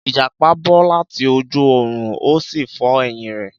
Ìjàpá bọ́ láti ojú ọ̀run, ó sì fọ́ ẹ̀yìn rẹ̀.